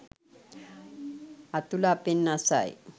අතුල අපෙන් අසයි.